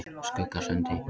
Skuggasundi